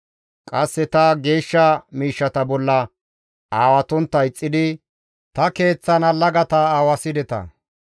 Qasse ta geeshsha miishshata bolla aawatontta ixxidi, ta Keeththan allagata aawasideta.